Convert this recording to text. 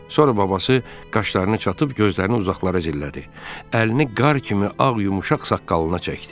Sonra babası qaşlarını çatıb gözlərini uzaqlara zillədi, əlini qar kimi ağ yumuşaq saqqalına çəkdi.